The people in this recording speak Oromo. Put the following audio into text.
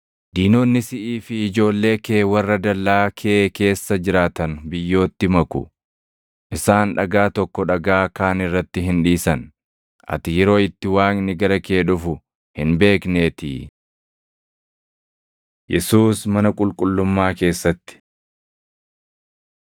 Diinonni siʼii fi ijoollee kee warra dallaa kee keessa jiraatan biyyootti maku. Isaan dhagaa tokko dhagaa kaan irratti hin dhiisan; ati yeroo itti Waaqni gara kee dhufu hin beekneetii.” Yesuus Mana Qulqullummaa Keessatti 19:45,46 kwf – Mat 21:12‑16; Mar 11:15‑18; Yoh 2:13‑16